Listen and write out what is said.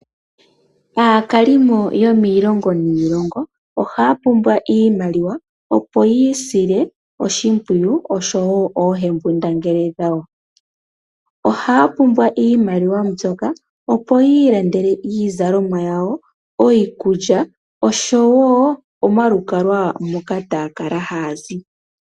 Aakalimo yomiilongo niilongo ohayapumbwa iimaliwa opo yi isile oshimpwiyu oshowo oohembundangele yawo, ohaya pumbwa iimaliwa mbyoka opo yi ilandele iizalomwa yawo, iikulya oshowo omalukalwa moka tayakala hayazi.